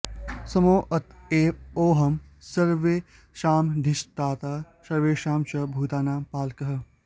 सोमोऽत एव योऽहं सर्वेषामधिष्ठाता सर्वेषां च भूतानां पालकः